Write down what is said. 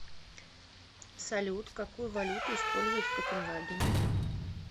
салют какую валюту используют в копенгагене